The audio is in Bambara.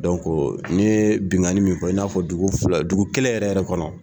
n'i ye binnkanni min fɔ i n'a fɔ dugu kelen yɛrɛ yɛrɛ kɔnɔ